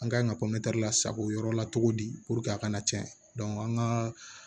An kan ka lasago yɔrɔ la cogo di a kana tiɲɛ an ka